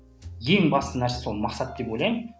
ең басты нәрсе сол мақсат деп ойлаймын